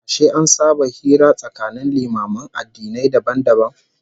Ashe an saba hira tsakanin limaman addinai dabam dabam?